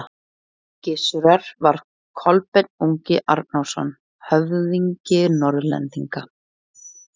Gissurar var Kolbeinn ungi Arnórsson, höfðingi Norðlendinga.